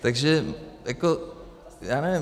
Takže jako já nevím.